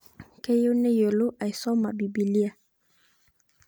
Kayieu nayielou aisoma bibilia